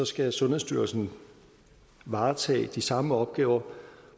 skal sundhedsstyrelsen varetage de samme opgaver